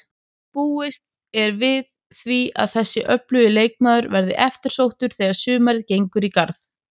Búist er við því að þessi öflugi leikmaður verði eftirsóttur þegar sumarið gengur í garð.